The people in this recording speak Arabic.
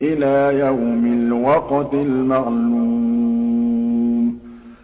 إِلَىٰ يَوْمِ الْوَقْتِ الْمَعْلُومِ